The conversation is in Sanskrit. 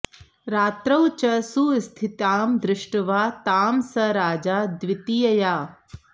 रात्रौ च सुस्थितां दृष्ट्वा तां स राजा द्वितीयया